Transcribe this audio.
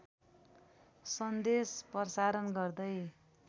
सन्देश प्रसारण गर्दै